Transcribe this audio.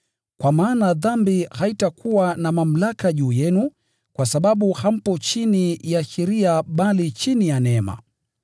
Kwa maana dhambi haitakuwa na mamlaka juu yenu, kwa sababu hampo chini ya sheria, bali chini ya neema.